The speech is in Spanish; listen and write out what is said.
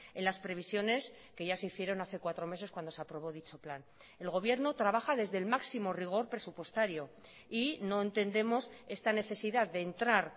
en las previsiones que ya se hicieron hace cuatro meses cuando se aprobó dicho plan el gobierno trabaja desde el máximo rigor presupuestario y no entendemos esta necesidad de entrar